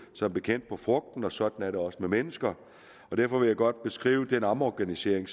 som bekendt på frugten og sådan er det også med mennesker derfor vil jeg godt beskrive den omorganisering